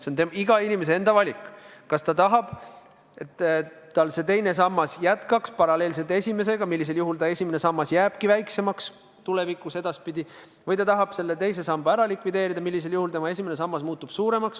See on iga inimese enda valik, kas ta tahab, et tal see teine sammas jääks paralleelselt esimesega, millisel juhul ta esimene sammas jääbki ka edasipidi väiksemaks, või ta tahab selle teise samba likvideerida, millisel juhul tema esimene sammas muutub suuremaks.